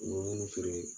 U bɛ minnu feere